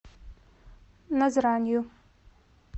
назранью